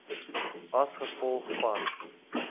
as gevolg van